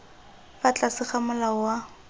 fa tlase ga molao wa